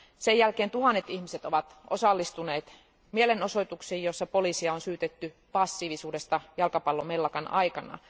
Sen jälkeen tuhannet ihmiset ovat osallistuneet mielenosoituksiin, joissa poliisia on syytetty passiivisuudesta jalkapallomellakan aikana.